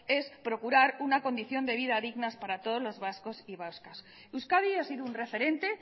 es procurar una condición de vida dignas para todos los vascos y vascas euskadi ha sido un referente